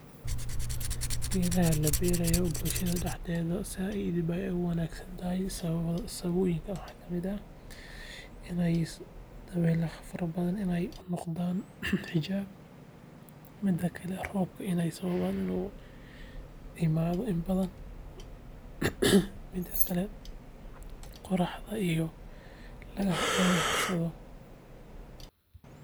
Geedaha laberayo bulshaada daxdeeda said bey u wanagsantahaay, sababoyinka waxaa kamiid ah, iney dawelaaha faraha badan ee u noqdaan xijaab, midaa kalee iney roobka iney sababan inu imaado in badan, miida kalee qoraaxda iyo logaa harsadoo.